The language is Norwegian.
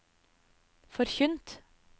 forkynt